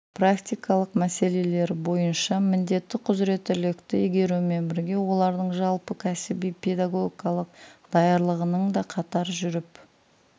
практикалық мәселелері бойынша міндетті құзыреттілікті игерумен бірге олардың жалпы кәсіби педагогикалық даярлығының да қатар жүріп